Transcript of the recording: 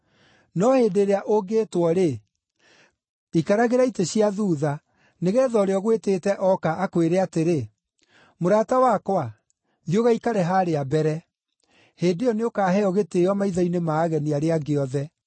No hĩndĩ ĩrĩa ũngĩtwo-rĩ, ikaragĩra itĩ cia thuutha, nĩgeetha ũrĩa ũgwĩtĩte ooka, akwĩre atĩrĩ, ‘Mũrata wakwa, thiĩ ũgaikare harĩa mbere.’ Hĩndĩ ĩyo nĩũkaheo gĩtĩĩo maitho-inĩ ma ageni arĩa angĩ othe.